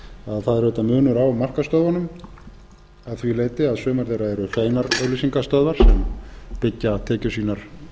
að það er auðvitað munur á markaðsstöðvunum að því leyti að sumar þeirra eru hreinar auglýsingastöðvar sem byggja tekjur sínar